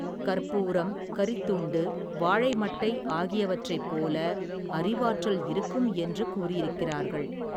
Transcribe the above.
கற்பூரம் கரித்துண்டு வாழைமட்டை ஆகியவற்றைப் போல அறிவாற்றல் இருக்கும் என்று கூறியிருக்கிறார்கள்.